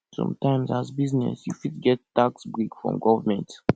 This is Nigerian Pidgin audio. sometimes as business you fit get tax break from government